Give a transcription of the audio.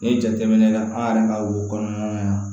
N'i ye jateminɛ kɛ an yɛrɛ ka wo kɔnɔna na